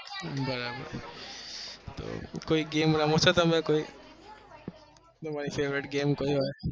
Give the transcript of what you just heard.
બરાબર તો કોઈ game રમો છો તમે કોઈ? તમારી favourite game કોઈ હોય?